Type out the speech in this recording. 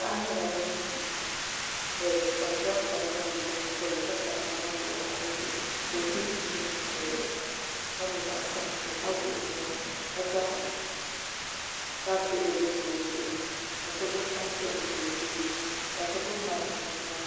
Paɣa nyɛla ŋun di fees ka bi zaŋ tani zaŋ yili o nyingoli ni ka sabi namba piɛla pa dizuɣu ka o so chinchin mokuru ka nyɛ zaɣ sabinli ka wuɣi o nuwa ka zaŋ baskɛt bini sa o zuɣu ni ka so gbubi tanpiɛlli ʒɛ o tooni ka so gbubi maik ʒɛ o nyaanga